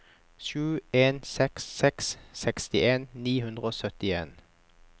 sju en seks seks sekstien ni hundre og syttien